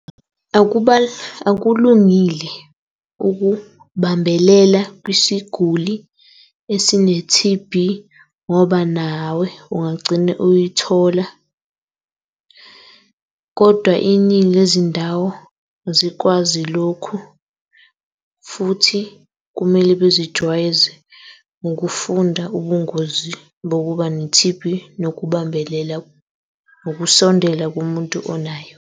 Akulungile ukubambelela kwisiguli esine-T_B ngoba nawe ungagcine uyithola, kodwa iningi le zindawo azikwazi lokhu. Futhi kumele bezijwayeze ngokufunda ubungozi bokuba ne-T_B nokubambelela, nokusondela kumuntu onayo.